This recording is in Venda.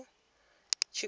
tshikonelo